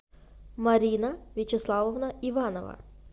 марина вячеславовна иванова